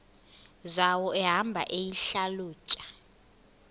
zawo ehamba eyihlalutya